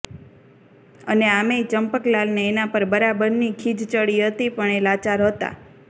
અને આમેય ચંપકલાલને એના પર બરાબરની ખીજ ચડી હતી પણ એ લાચાર હતા